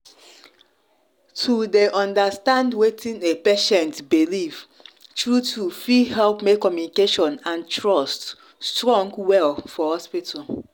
to dey understand wetin a patient believe true-true fit help make communication and trust strong well for hospital.